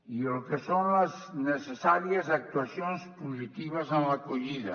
i el que són les necessàries actuacions positives en l’acollida